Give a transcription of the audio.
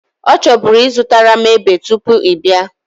O choburu izutaram epe tupu ị bia